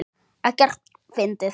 Ekkert fyndið!